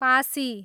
Pasi